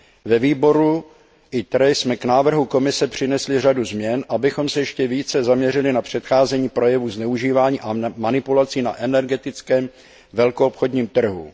Ve výboru ITRE jsme k návrhu Komise přinesli řadu změn, abychom se ještě více zaměřili na předcházení projevům zneužívání a manipulace na energetickém velkoobchodním trhu.